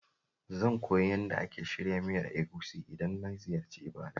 Zan koyi yadda ake shirya miyar Egusi idan na ziyarci Ibadan.